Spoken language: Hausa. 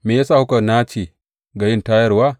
Me ya sa kuka nace ga yin tayarwa?